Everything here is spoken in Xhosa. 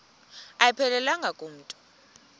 ayiphelelanga ku mntu